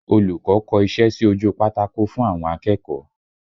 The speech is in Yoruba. Olùkọ́ kọ iṣẹ́ sí ojú pátákó fún àwọn akẹ́kọ̀ọ́